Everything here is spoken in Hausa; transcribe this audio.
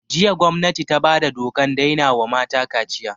Jiya gwamnati ta bada dokan daina wa mata kaciya